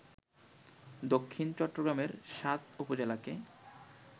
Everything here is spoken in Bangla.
দক্ষিণ চট্টগ্রামের সাত উপজেলাকে